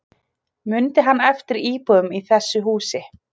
Mundi hann eftir íbúum í þessu húsi